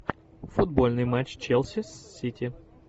футбольный матч челси с сити